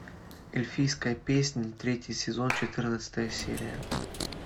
эльфийская песнь третий сезон четырнадцатая серия